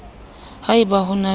ha e ba ho na